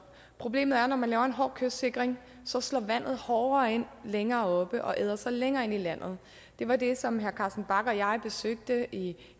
problemet er at når man laver en hård kystsikring så slår vandet hårdere ind længere oppe og æder sig længere ind i landet det var det som herre carsten bach og jeg kunne se da vi